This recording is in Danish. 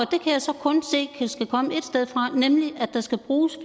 jeg så kun se skal komme et sted fra nemlig at der skal bruges